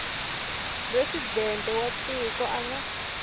presidente wa tiko a nga